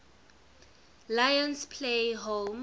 lions play home